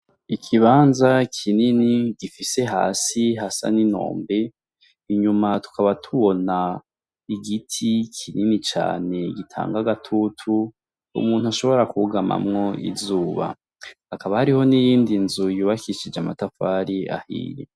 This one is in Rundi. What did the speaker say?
Ikibanza kinini gifise hasi hasa ni nombe , inyuma tukaba tubona igiti kinini cane gitanga agatutu umuntu ashobora kwugamamwo izuba, hakaba hariho niyindi nzu yubakishijwe amatafari ahiye.